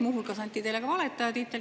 Muu hulgas anti teile ka valetaja tiitel.